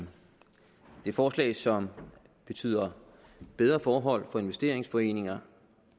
et forslag som betyder bedre forhold for investeringsforeninger